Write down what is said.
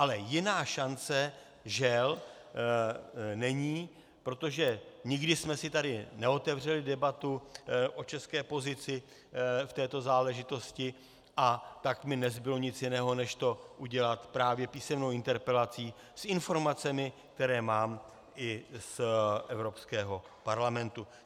Ale jiná šance, žel, není, protože nikdy jsme si tady neotevřeli debatu o české pozici v této záležitosti, a tak mi nezbylo nic jiného než to udělat právě písemnou interpelací s informacemi, které mám i z Evropského parlamentu.